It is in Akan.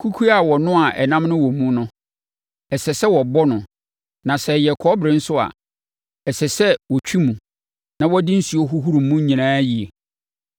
Kukuo a wɔnoaa ɛnam no wɔ mu no, ɛsɛ sɛ wɔbɔ no; na sɛ ɛyɛ kɔbere nso a, ɛsɛ sɛ wɔtwi mu, na wɔde nsuo hohoro mu nyinaa yie.